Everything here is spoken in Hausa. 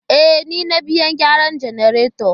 E, ni na biya mai gyaran jannaretan.